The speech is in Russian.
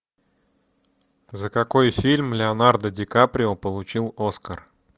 за какой фильм леонардо ди каприо получил оскар